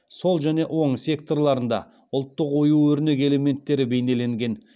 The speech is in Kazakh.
сол және оң секторларында ұлттық ою өрнек элементтері бейнеленген